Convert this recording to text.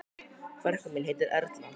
Frænka mín heitir Erla.